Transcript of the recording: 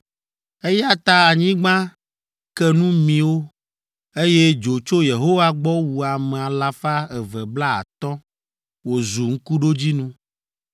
Eya ta anyigba ke nu mi wo, eye dzo tso Yehowa gbɔ wu ame alafa eve blaatɔ̃ (250) wòzu ŋkuɖodzinu.